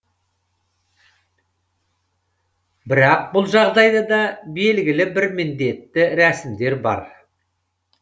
бірақ бұл жағдайда да белгілі бір міндетті рәсімдер бар